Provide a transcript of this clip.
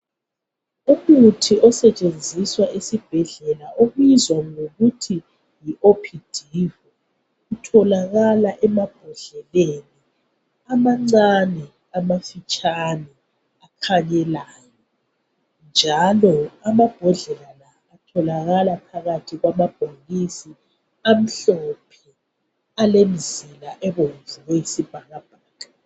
Umuthi osetshenziswa esibhedlela obizwa ngokuthi yiopdivo utholakala emabhodleleni amancani amafitshani akhenyelayo njalo amambodlela la atholakala phakathi kwamabhokisi amhlophe alemzila ebomvu eyisibhakabhaka